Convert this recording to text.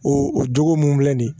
O o jogo mun filɛ nin ye